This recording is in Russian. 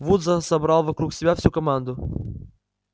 вуд за собрал вокруг себя всю команду